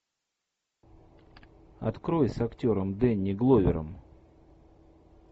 открой с актером дэнни гловером